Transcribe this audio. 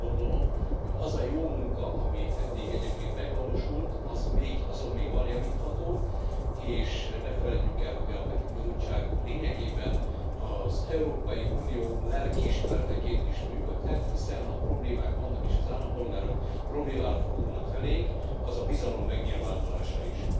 Úgy gondolom, hogy az a jó munka, ami eddig egyébként megvalósult, az még javítható, és ne feledjük el, hogy a Peti Bizottság lényegében az Európai Unió lelkiismereteként is működhet, hiszen ha problémák vannak és az állampolgárok fordulnak felénk, az a bizalom megnyilvánulása is.